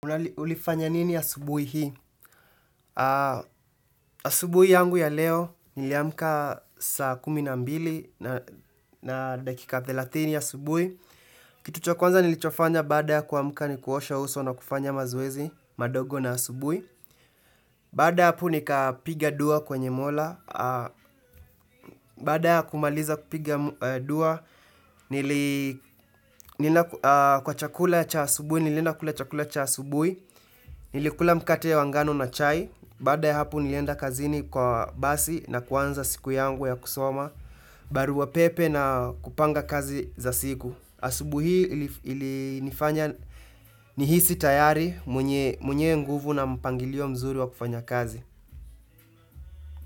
Unali, ulifanya nini asubuhi hii? Asubuhi yangu ya leo niliamka saa kumi na mbili na dakika thelathini asubuhi. Kitu cha kwanza nilichofanya baada ya kuamka ni kuosha uso na kufanya mazoezi madogo na asubuhi. Baada ya hapo nikapiga dua kwenye mola. Baada ya kumaliza kupiga dua, nilienda kwa chakula cha asubuhi, nilienda kula chakula cha asubuhi. Nilikula mkate ya wa ngano na chai, baada ya hapo nilienda kazini kwa basi na kuanza siku yangu ya kusoma, barua pepe na kupanga kazi za siku. Asubuhi hii ilinifanya nihisi tayari mwenye nguvu na mpangilio mzuri wa kufanya kazi.